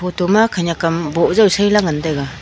thoma khenek am bow jaw saila ngan tega.